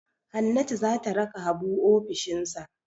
Hannatu za ta raka Habu ofishinsa.